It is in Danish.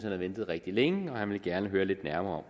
havde ventet rigtig længe og han ville gerne høre lidt nærmere